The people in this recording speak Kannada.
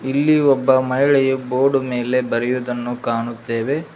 ಇಲ್ಲಿ ಒಬ್ಬ ಮಹಿಳೆಯು ಬೋರ್ಡ್ ಮೇಲೆ ಬರೆಯುವುದನ್ನು ಕಾಣುತ್ತೇವೆ.